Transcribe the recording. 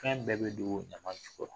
Kan jumɛn dogo ɲama jukɔrɔ